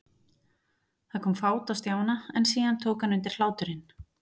Það kom fát á Stjána, en síðan tók hann undir hláturinn.